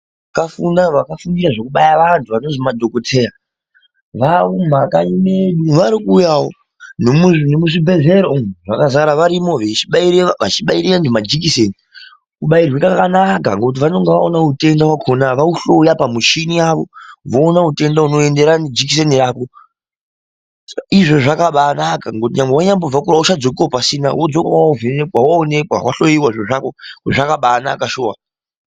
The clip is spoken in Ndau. Vakafundira zvekubaira vanhu vanozi madhokodheya vaamumakanyi medu varikuuyawo nemuzvibhehleya umu zvakazara varimo vachibaire, vechabaire vantu majekiseni, kubairwe kwakanaka ngekuti vanenge vaona utenda hwakona vauhloya pamuchini yavo voona utenda unoenderana nejekiseni rako izvozvo zvakaba anaka ngekuti nyangwe wenyabvewo kure auchadzokiwo pasina wodzoka wavhenekwa waonekwa, wanhloyiwa zviro zvako zvakaba anaka shuwa.